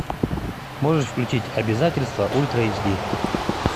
можешь включить обязательства ультра эйч ди